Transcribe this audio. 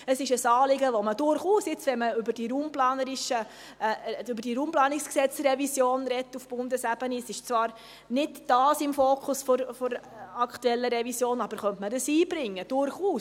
Es ist ein Anliegen, das man, wenn man jetzt auf Bundesebene über die RPG-Revision spricht – dieses steht zwar nicht im Fokus der aktuellen Revision –, durchaus einbringen könnte.